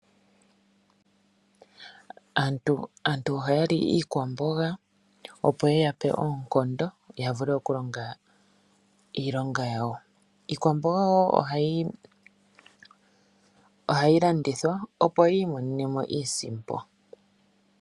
Aantu ohaya li iikwamboga opo yiyape oonkondo yavule okulonga iilonga yawo. Iikwamboga wo ohayi landithwa, opo aantu yiimonene iisimpo.